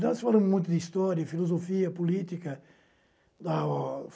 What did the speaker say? Nós falamos muito de história, filosofia, política. Ah